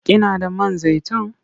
Kina da man zaitun?